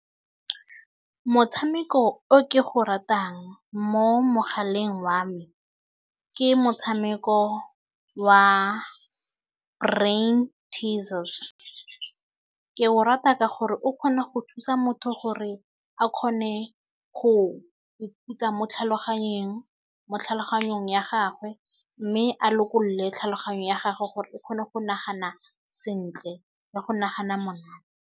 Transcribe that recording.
Motshameko o ke go ratang mo mogaleng wa me ke motshameko wa brain teases ke o rata ka gore o kgona go thusa motho gore a kgone go ikhutsa mo tlhaloganyeng mo tlhaloganyong ya gagwe mme a lokolole tlhaloganyo ya gage gore e kgone go nagana sentle ya go nagana monate.